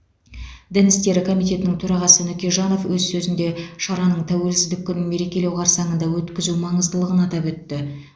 дін істері комитетінің төрағасы нүкежанов өз сөзінде шараның тәуелсіздік күнін мерекелеу қарсаңында өткізу маңыздылығын атап өтті